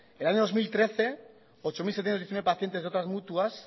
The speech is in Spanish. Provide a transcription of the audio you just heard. en el año dos mil trece ocho mil setecientos diecinueve pacientes de otras mutuas